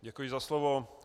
Děkuji za slovo.